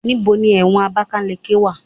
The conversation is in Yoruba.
Níbo ni ẹ̀wọ̀n Abakaliki wà?